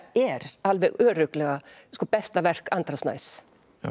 er alveg örugglega besta verk Andra Snæs